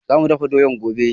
Za mu dafa doya gobe